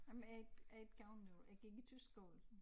Ej men jeg har ikke har ikke gået der jeg gik i tysk skole